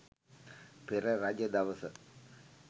පෙර රජ දවස